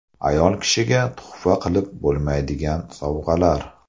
Ayol kishiga tuhfa qilib bo‘lmaydigan sovg‘alar.